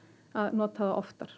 að nota þá oftar